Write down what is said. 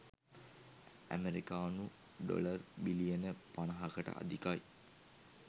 ඇමරිකානු ඩොලර් බිලියන 50කට අධිකයි.